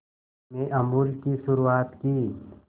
में अमूल की शुरुआत की